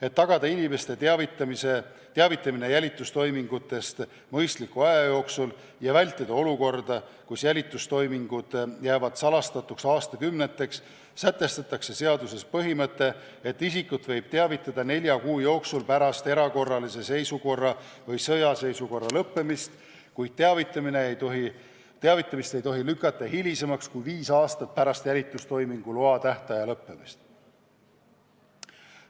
Et tagada inimeste teavitamine jälitustoimingutest mõistliku aja jooksul ja vältida olukorda, kus jälitustoimingud jäävad salastatuks aastakümneteks, sätestatakse seaduses põhimõte, et isikut võib teavitada nelja kuu jooksul pärast erakorralise seisukorra või sõjaseisukorra lõppemist, kuid teavitamist ei tohi lükata hilisemasse aega kui viis aastat pärast jälitustoimingu loa tähtaja lõppemist.